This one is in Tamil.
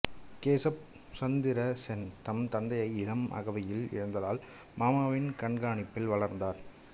கேசப் சந்திர சென் தம் தந்தையை இளம் அகவையில் இழந்ததால் மாமாவின் கண்காணிப்பில் வளர்ந்தார்